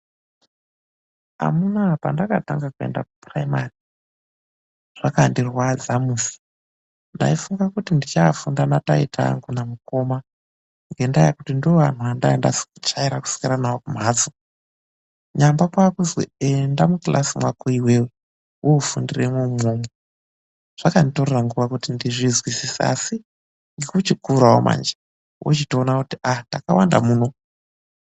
Amunaa, pandakatanga kuenda kuphuraimari, zvakandirwadza musi. Ndaifunga kuti ndichaafunda nataita angu namukoma ngendaa yekuti ndivo vanthu vendainga ndajaera kukura navo ku mphatso. Nyamba kwaakuzwi enda mukilasi mwako iwewe, woofundiremwo umwomwo. Zvakanditorera nguwa kuti ndizozvizwisise. Asi ngekuchikurawo manji, wochitoona kuti takawanda muno.